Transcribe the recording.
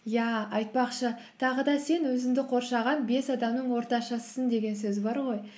иә айтпақшы тағы да сен өзіңді қоршаған бес адамның ортаншысысың деген сөз бар ғой